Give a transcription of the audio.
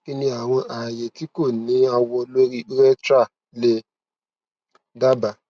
kini awọn aaye ti ko ni awọ lori urethra le daba